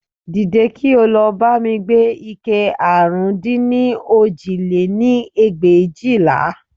Dìde, kí ó lọ bá mi gbé ike àrún dín ní òjì lé-ní ẹgbẹ̀éjìlá